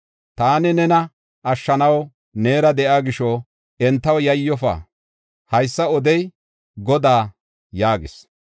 Taani nena ashshanaw neera de7iya gisho entaw yayyofa. Haysa odey Godaa” yaagis.